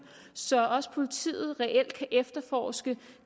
så også politiet reelt kan efterforske